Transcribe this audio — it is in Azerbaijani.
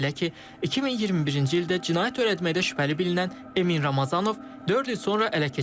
Belə ki, 2021-ci ildə cinayət törətməkdə şübhəli bilinən Emin Ramazanov dörd il sonra ələ keçib.